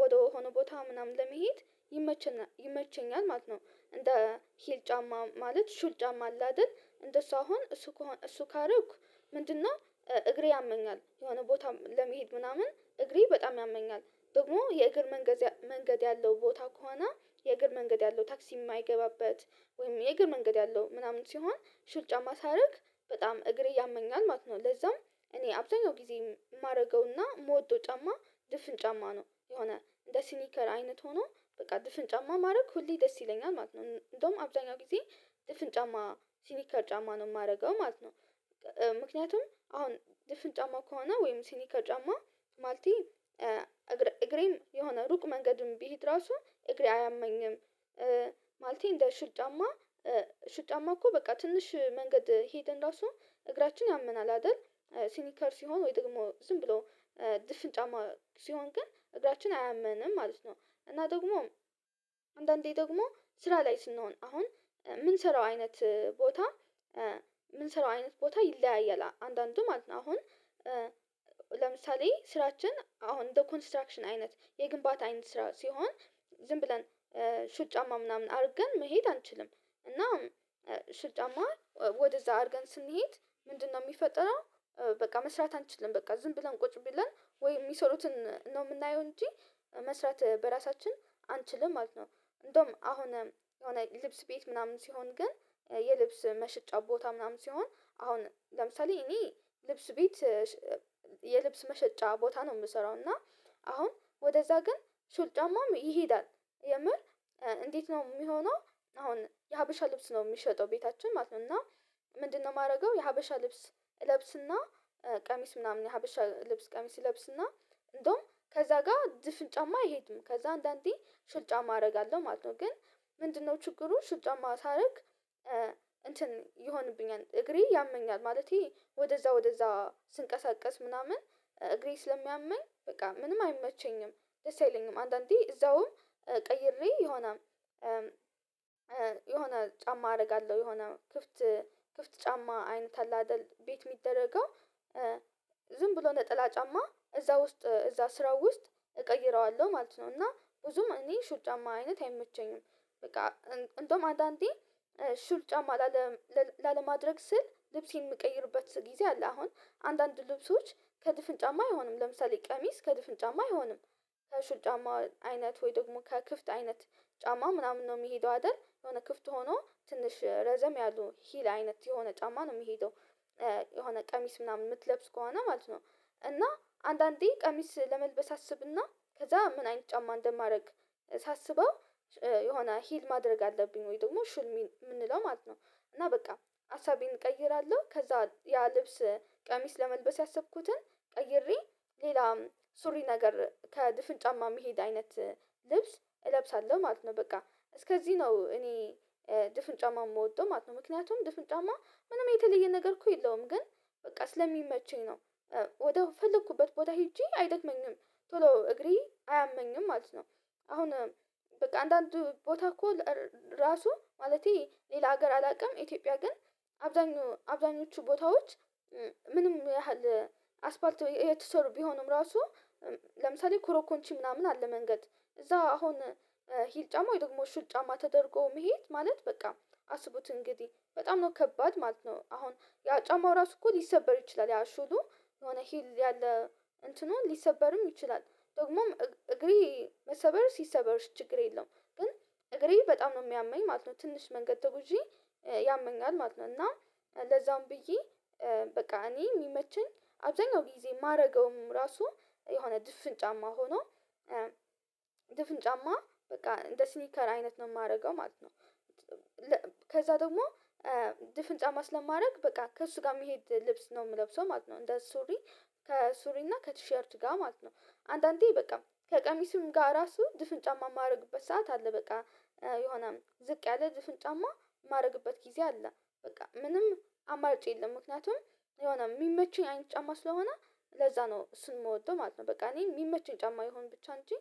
ወደሆነ ቦታ ምናምን ለመሄድ ይመቸኛ ይመቸኛል ማለት ነው። እንደ ሂል ጫማ ማለት ሹል ጫማ አለ አደል እንደሱ አሁን እሱ ከሆ እሱ ካረኩ ምንድነው እግሬ ያመኛል የሆነ ቦታ ለመሄድ ምናምን እግሬ በጣም ያመኛል። ደግሞ የእግር መንገድ መንገድ ያለው ቦታ ከሆነ የእግር መንገድ ያለው ታክሲ የማይገባበት ወይም የእግር መንገድ ያለው ምናምን ሲሆን ሽር ጫማ ሳረግ በጣም እግሬ ያመኛል ማለት ነው። ለዛም እኔ አብዛኛው ጊዜ የማደርገውና የምወደው ጫማ ድፍን ጫማ ነው። የሆነ እንደ ሲኒከር አይነት ሆኖ በቃ ድፍን ጫማ ማረግ ሁሌ ደስ ይለኛል ማለት ነው። እንደውም አብዛኛው ጊዜ ድፍን ጫማ ሲኒከር ጫማ ነው የማደርገው ማለት ነው። ምክንያቱም አሁን ድፍን ጫማ ከሆነ ወይም ሲኒከር ጫማ ማለቴ እገር እግሬም የሆነ ሩቅ መንገድም ብሄድ ራሱ እግሬ አያመኝም። ማለቴ እንደ ሹል ጫማ ሹል ጫማ እኮ በቃ ትንሽ መንገድ ሄደን ራሱ እግራችን ያመናል አይደል ሲኒከር ሲሆን ወይ ደግሞ ዝም ብሎ ድፍን ጫማ ሲሆን ግን እግራችን አያመንም ማለት ነው፤ እና ደግሞ አንዳንዴ ደግሞ ስራ ላይ ስንሆን አሁን የምንሰራው አይነት ቦታ የምንሰራው አይነት ቦታ ይለያያል አንዳንዱ ማለት ነው አሁን ለምሳሌ ስራችን አሁን እንደ ኮንስትራክሽን አይነት የግንባታ አይነት ስራ ሲሆን ዝም ብለን ሹል ጫማ ምናምን አድርገን መሄድ አንችልም፤ እና ሹል ጫማ ወደዛ አርገን ስንሄድ ምንድነው የሚፈጠረው በቃ መስራት አንችልም በቃ ዝም ብለን ቁጭ ብለን ወይ የሚሰሩትን ነው የምናየው እንጂ መስራት በራሳችን አንችልም ማለት ነው። እንደውም አሁን የሆነ ልብስ ቤት ምናምን ሲሆን ግን የልብስ መሸጫ ቦታ ምናምን ሲሆን አሁን ለምሳሌ እኔ ልብስ ቤት የልብስ መሸጫ ቦታ ነው የምሰራው እና አሁን ወደዛ ግን ሹል ጫማም ይሄዳል። የምር "እንዴት ነው የሚሆነው?" አሁን የሀበሻ ልብስ ነው የሚሸጠው ቤታችን ማለት ነው፤ እና ምንድነው የማደርገው የሀበሻ ልብስ እለብስና ቀሚስ ምናምን የሀበሻ ልብስ ቀሚስ እለብስና እንደውም ከዛ ጋር ድፍን ጫማ አይሄድም። ከዛ አንዳንዴ ሹል ጫማ አደርጋለው ማለት ነው፤ ግን ምንድነው ችግሩ ሹል ጫማ ሳደርግ እንትን ይሆንብኛል እግሬ ያመኛል ማለቴ ወደዛ ወደዛ ስንቀሳቀስ ምናምን እግሬ ስለሚያመኝ በቃ ምንም አይመቸኝም። ደስአይለኝም አንዳንዴ እዛውም ቀይሬ የሆነ የሆነ ጫማ አደርጋለሁ። የሆነ ክፍት ክፍት ጫማ አይነት አለ አይደል ቤት የሚደረገው ዝም ብሎ ነጠላ ጫማ እዛ ውስጥ እዛ ስራው ውስጥ እቀይረዋለሁ ማለት ነው፤ እና ብዙም እኔ ሹል ጫማ አይነት አይመቸኝም። በቃ እንደውም አንዳንዴ ሹል ጫማ ላለ ላለማድረግ ስል ልብሴን የምቀይርበት ጊዜ አለ። አሁን አንዳንድ ልብሶች ከድፍን ጫማ አይሆንም ለምሳሌ ቀሚስ ከድፍን ጫማ አይሆንም። ከሹል ጫማ አይነት ወይ ደግሞ ከክፍት አይነት ጫማ ምናምን ነው የሚሄደው አይደል የሆነ ክፍት ሆኖ ትንሽ ረዘም ያሉ ሂል አይነት የሆነ ጫማ ነው የሚሄደው የሆነ ቀሚስ ምናምን የምትለብስ ከሆነ ማለት ነው፤ እና አንዳንዴ ቀሚስ ለመልበስ አስብና ከዛ ምን አይነት ጫማ እንደማደርግ ሳስበው የሆነ ሂል ማድረግ አለብኝ ወይ ደግሞ ሹል ሚን ምንለው ማለት ነው፤ እና በቃ ሃሳቤን እቀይራለሁ። ከዛ ያ ልብስ ቀሚስ ለመልበስ ያሰብኩትን ቀይሬ ሌላ ሱሪ ነገር ከድፍን ጫማ የሚሄድ አይነት ልብስ እለብሳለሁ ማለት ነው። በቃ እስከዚህ ነው እኔ ድፍን ጫማ የምወደው ማለት ነው። ምክንያቱም ድፍን ጫማ ምንም የተለየ ነገር እኮ የለውም፤ ግን በቃ ስለሚመቸኝ ነው፤ ወደ ፈለኩበት ቦታ ሄጄ አይደለምኝም። ቶሎ እግሬ አያመኝም ማለት ነው። አሁን በቃ አንዳንድ ቦታ እኮ ራሱ ማለቴ ሌላ ሀገር አላውቅም፤ ኢትዮጵያ ግን አብዛኞቹ ቦታዎች ምንም ያህል አስፓልት ወይ የተሰሩ ቢሆኑም ራሱ ለምሳሌ ኮሮኮንቺ ምናምን አለ መንገድ እዛ አሁን ሂል ጫማ ደግሞ ሹል ጫማ ተደርጎ መሄድ ማለት በቃ አስቡት እንግዲህ በጣም ነው ከባድ ማለት ነው አሁን ያ ጫማው ራሱ እኮ ሊሰበር ይችላል ያ ሹሉ የሆነ ሂል ያለ እንትኑ ሊሰበርም ይችላል፣ ደግሞም እግሬ መሰበሩስ ይሰበር እሺ ችግር የለውም ግን እግሬ በጣም ነው የሚያመኝ ማለት ነው። ትንሽ መንገድ ተጉዤ ያመኛል ማለት ነው፤ እና ለዛውም ብዬ በቃ እኔ የሚመቸኝ አብዛኛው ጊዜ የማደርገውም ራሱ የሆነ ድፍን ጫማ ሆኖ ድፍን ጫማ በቃ እንደ ስኒከር አይነት ነው የማደርገው ማለት ነው። ከዛ ደግሞ ድፍን ጫማ ስለማረግ በቃ ከእሱ ጋር ሚሄድ ልብስ ነው የምለብሰው ማለት ነው። እንደ ሱሪ ከሱሪና ከቲሸርት ጋር ማለት ነው፤ አንዳንዴ በቃ ከቀሚሱም ጋር ራሱ ድፍን ጫማ የማደርግበት ሰዓት አለ፤ በቃ የሆነ ዝቅ ያለ ድፍን ጫማ ማደርግበት ጊዜ አለ። በቃ ምንም አማርጭ የለም ምክንያቱም የሆነ የሚመቸኝ አይነት ጫማ ስለሆነ ለዛ ነው እሱን የምወደው ማለት ነው። በቃ እኔ የሚመቸኝ ጫማ ይሆን ብቻ እንጂ